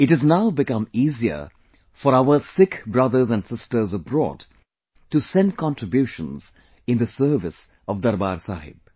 It has now become easier for our Sikh brothers and sisters abroad to send contributions in the service of Darbaar Sahib